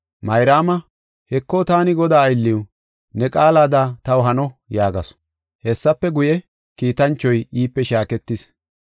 Mayraama, “Heko, taani Godaa aylliw, ne qaalada taw hano” yaagasu. Hessafe guye, kiitanchoy iipe shaaketis.